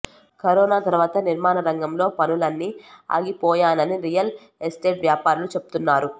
corona తర్వాత నిర్మాణ రంగంలో పనులన్నీ ఆగిపోయానని రియల్ ఎస్టేట్ వ్యాపారులు చెప్తున్నారు